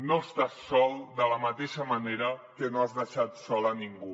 no estàs sol de la mateixa manera que no has deixat sol a ningú